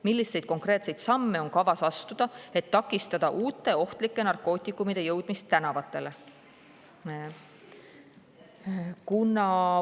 Milliseid konkreetseid samme on kavas astuda, et takistada uute ohtlike narkootikumide jõudmist tänavatele?